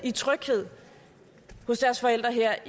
hos deres forældre her